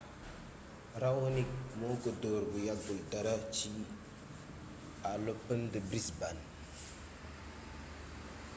raonic moo ko dóor bu yàggul dara ci à l'open de brisbane